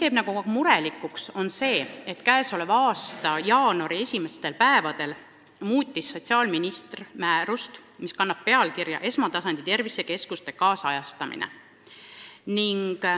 Aga meid teeb murelikuks, et tänavu jaanuari esimestel päevadel muutis sotsiaalminister määrust, mis kannab pealkirja "Esmatasandi tervisekeskuste kaasajastamine".